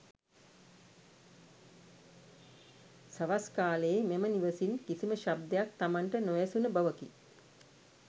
සවස් කාලයේ මෙම නිවසින් කිසිම ශබ්දයක් තමන්ට නොඇසුන බවකි.